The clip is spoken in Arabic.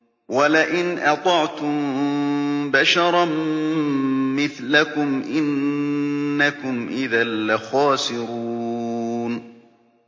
وَلَئِنْ أَطَعْتُم بَشَرًا مِّثْلَكُمْ إِنَّكُمْ إِذًا لَّخَاسِرُونَ